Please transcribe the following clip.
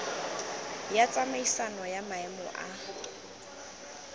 ya tsamaisano ya maemo a